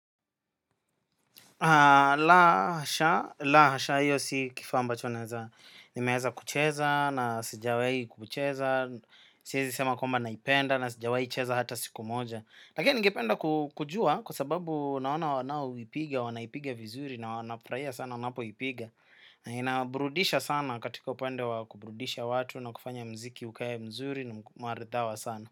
La hasha, la hasha hiyo si kifaa ambacho naeza. Nimeeza kucheza na sijawai kucheza. Siezi sema kwamba naipenda na sijawai cheza hata siku moja. Lakini ningependa kujua kwa sababu naona wanao ipiga, wanaipiga vizuri na wanafurahia sana wanapo ipiga. Na inawaburudisha sana katika upande wa kuburudisha watu na kufanya mziki ukae mzuri na marithawa sana.